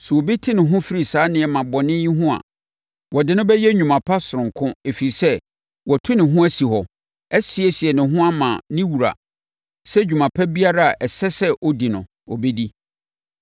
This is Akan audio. Sɛ obi te ne ho firi saa nneɛma bɔne no ho a, wɔde no bɛyɛ nnwuma sononko ɛfiri sɛ, watu ne ho asi hɔ, asiesie ne ho ama ne wura sɛ dwuma pa biara a ɛsɛ sɛ ɔdi no, ɔbɛdi.